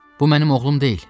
Bu mənim oğlum deyil.